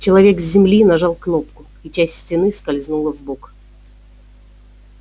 человек с земли нажал кнопку и часть стены скользнула вбок